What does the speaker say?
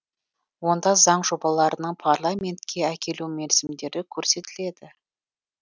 онда заң жобаларының парламентке әкелу мерзімдері көрсетіледі